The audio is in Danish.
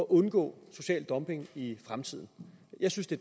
undgå social dumping i fremtiden jeg synes det